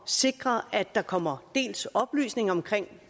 sikre at der kommer oplysning om